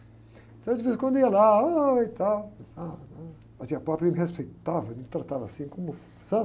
Então, de veze em quando, eu ia lá, e tal, ele me respeitava, ele me tratava assim, como, sabe?